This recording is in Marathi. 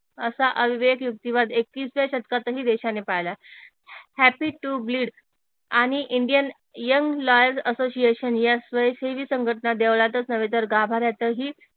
असा अविवेक युक्तीवाद एकवीसव्या शतकात ही देशाने पाळला हैप्पी टू ग्लीड आणि इंडियन यंग लॉयर्स अससोसिएशन या स्वयंसेवी संघटना देवळातच नव्हे तर गाभाऱ्यातही